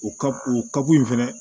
O ka o kako in fɛnɛ